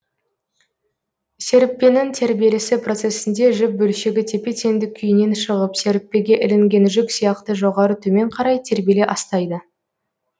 серіппенің тербелісі процесінде жіп бөлшегі тепе теңдік күйінен шығып серіппеге ілінген жүк сияқты жоғары төмен қарай тербеле астайды